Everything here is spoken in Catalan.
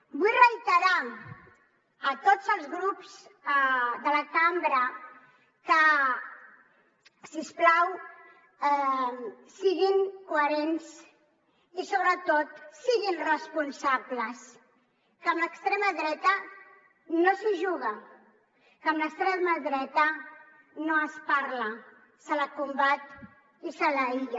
vull reiterar a tots els grups de la cambra que si us plau siguin coherents i sobretot siguin responsables que amb l’extrema dreta no s’hi juga que amb l’extrema dreta no s’hi parla se la combat i se l’aïlla